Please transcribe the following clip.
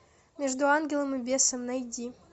между ангелом и бесом найди